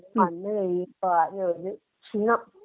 വന്നു കഴിയുമ്പോ ആകെ ഒരു ക്ഷീണം